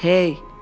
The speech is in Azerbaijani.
Hey!